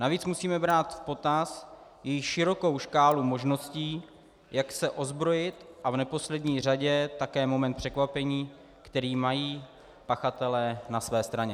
Navíc musíme brát v potaz i širokou škálu možností, jak se ozbrojit, a v neposlední řadě také moment překvapení, který mají pachatelé na své straně.